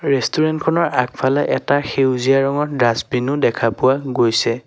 ৰেষ্টুৰেন্তখনৰ আগফালে এটা সেউজীয়া ৰঙৰ ডাছবিনো দেখা পোৱা গৈছে।